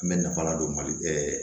N bɛ nafa ladon mali ɛɛ